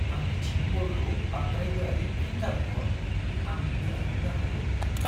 आंनिथिं बलखौ बांद्राय गोरायै फिन दाबुहर। आं दुखु मोननो हागौ।